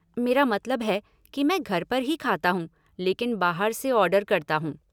मेरा मतलब है, कि मैं घर पर ही खाता हूँ लेकिन बाहर से ऑर्डर करता हूँ।